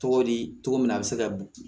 Tɔgɔ di cogo min na a bɛ se ka bin